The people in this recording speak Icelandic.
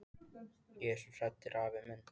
Ég er svo hrædd afi minn!